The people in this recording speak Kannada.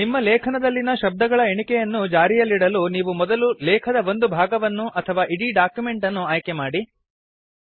ನಿಮ್ಮ ಲೇಖನದಲ್ಲಿನ ಶಬ್ದಗಳ ಎಣಿಕೆಯನ್ನು ಜಾರಿಯಲ್ಲಿಡಲು ನೀವು ಮೊದಲು ಲೇಖದ ಒಂದು ಭಾಗವನ್ನು ಅಥವಾ ಇಡೀ ಡಾಕ್ಯುಮೆಂಟ್ ಅನ್ನು ಆಯ್ಕೆಮಾಡಿ